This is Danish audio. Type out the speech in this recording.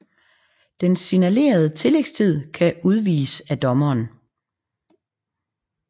Den signalerede tillægstid kan udvides af dommeren